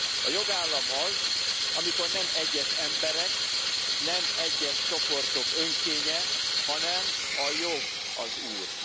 A jogállam az, amikor nem egyes emberek, nem egyes csoportok önkénye, hanem a jog az úr.